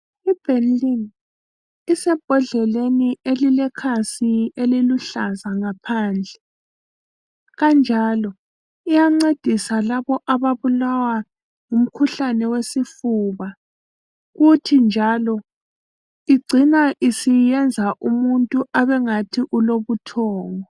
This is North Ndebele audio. IBenylin. Isebhodleleni elilekhasi eliluhlaza ngaphansi. Kanjalo iyancedisa labo ababulwa ngumkhuhlane wesifuba kuthi njalo igcina isiyenza umuntu ebengathi ulobuthongo.